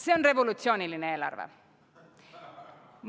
See on revolutsiooniline eelarve.